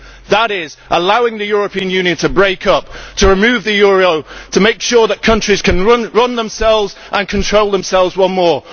That is allowing the European Union to break up, to remove the euro, to make sure that countries can run themselves and control themselves once more.